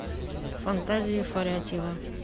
фантазии фарятьева